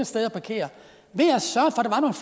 sted at parkere